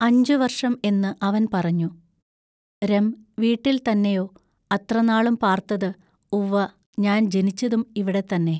അഞ്ചു വർഷം എന്നു അവൻ പറഞ്ഞു, രം വീട്ടിൽ തന്നെയൊ അത്രനാളും പാർത്തത് ഉവ്വ ഞാൻ ജനിച്ചതും ഇവിടെ തന്നെ.